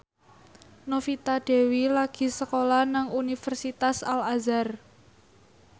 Novita Dewi lagi sekolah nang Universitas Al Azhar